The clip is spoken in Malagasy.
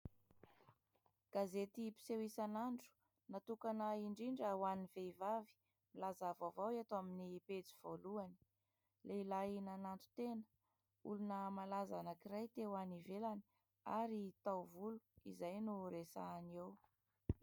Gazety mpiseho isanandro natokana indrindra ho an'ny vehivavy, milaza vaovao eto amin'ny pejy voalohany : lehilahy nananton-tena, olona malaza anankiray te ho any ivelany ary tao volo, izay no resahana eo.